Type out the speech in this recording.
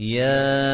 يَا